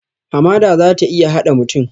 Hamada za ta iya haɗe mutum